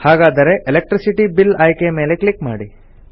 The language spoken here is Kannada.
ಹಾಗಾದರೆ ಎಲೆಕ್ಟ್ರಿಸಿಟಿ ಬಿಲ್ ಆಯ್ಕೆಯ ಮೇಲೆ ಕ್ಲಿಕ್ ಮಾಡಿ